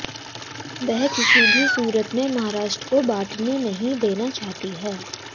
वह किसी भी सूरत में महाराष्ट्र को बंटने नहीं देना चाहती है